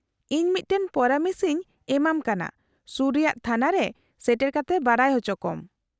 -ᱤᱧ ᱢᱤᱫᱴᱟᱝ ᱯᱚᱨᱟᱢᱮᱥ ᱤᱧ ᱮᱢᱟᱢ ᱠᱟᱱᱟ ᱥᱩᱨ ᱨᱮᱭᱟᱜ ᱛᱷᱟᱱᱟ ᱨᱮ ᱥᱮᱴᱮᱨ ᱠᱟᱛᱮ ᱵᱟᱰᱟᱭ ᱚᱪᱚᱠᱚᱢ ᱾